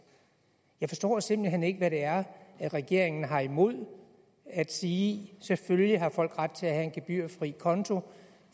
jeg forstår simpelt hen ikke hvad det er regeringen har imod at sige selvfølgelig har folk ret til at have en gebyrfri konto